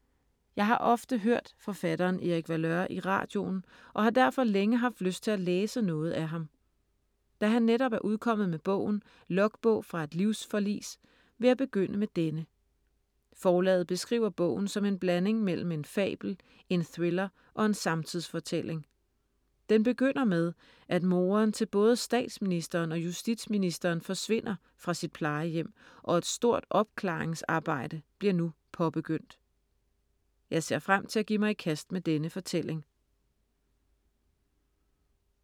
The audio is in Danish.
Jeg har ofte hørt forfatteren Erik Valeur i radioen og har derfor længe haft lyst til at læse noget af ham. Da han netop er udkommet med bogen Logbog fra et livsforlis, vil jeg begynde med denne. Forlaget beskriver bogen som en blanding mellem en fabel, en thriller og en samtidsfortælling. Den begynder med, at moren til både statsministeren og justitsministeren forsvinder fra sit plejehjem, og et stort opklaringsarbejde bliver nu påbegyndt. Jeg ser frem til at give mig i kast med denne fortælling.